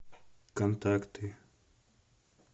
контакты